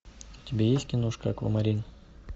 у тебя есть киношка аквамарин